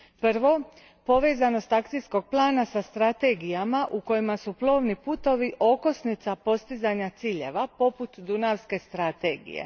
Prvo, povezanost Akcijkog plana sa strategijama u kojima su plovni putovi okosnica postizanja ciljeva poput Dunavske strategije.